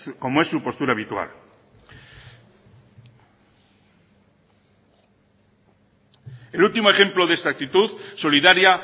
como es su postura habitual el último ejemplo de esta actitud solidaria